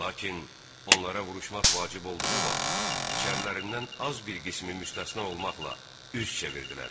Lakin onlara vuruşmaq vacib olduğu vaxt içərilərindən az bir qismi müstəsna olmaqla üz çevirdilər.